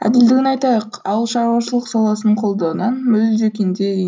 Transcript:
әділдігін айтайық ауылшаруашылық саласын қолдаудан мүлде кенде